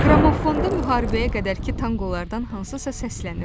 Qramofondan müharibəyə qədərki tanqolardan hansısa səslənirdi.